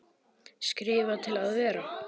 Skrifa til að vera?